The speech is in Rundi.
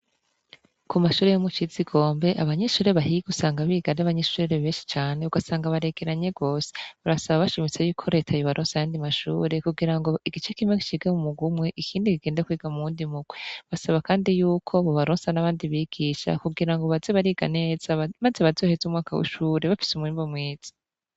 Ku mashure yo Mucizigombe, abanyeshure bahiga usanga biga ari abanyeshure benshi cane, ugasanga baregeranye gose, barasaba bashimitse yuko reta yobaronsa ayandi mashure kugira ngo igice kimwe cige m'umugwi umwe ikindi kigendee m'uwundi mugwi, basaba kandi yuko bobaronsa n'abandi bigisha kugira ngo baze bariga neza maze bazoheze umwaka w'ishure bafise umwimbu mwiza.